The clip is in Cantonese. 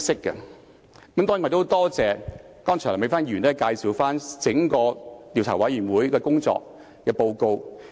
我很多謝梁美芬議員剛才介紹調查委員會的整份工作報告。